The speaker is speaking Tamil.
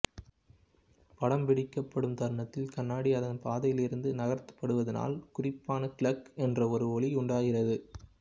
படம் பிடிக்கப்படும் தருணத்தில் கண்ணாடி அதன் பாதையிலிருந்து நகர்த்தப்படுவதனால் குறிப்பான களாக் என்ற ஒரு ஒலி உண்டாகிறது